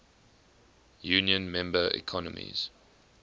union member economies